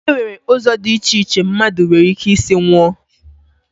E nwere ụzọ dị iche iche mmadụ nwere ike isi nwụọ